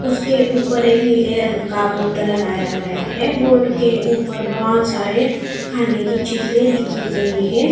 उसके ऊपर एक नीले रंग का बोर्ड लगाया गया है बोर्ड के ऊपर बहोत सारे खाने की चीजे लिखी गई है।